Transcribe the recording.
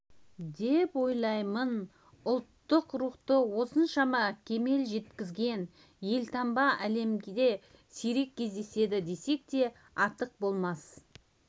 деп ойлаймын ұлттық рухты осыншама кемел жеткізген елтаңба әлемде сирек кездеседі десек те артық болмас